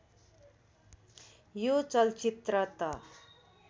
यो चलचित्र त